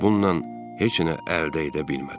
bununla heç nə əldə edə bilmədi.